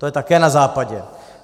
To je také na Západě.